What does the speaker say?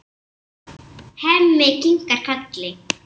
Hemmi kinkar kolli.